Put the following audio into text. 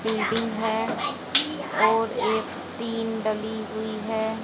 Building है और एक टीन डली हुई है।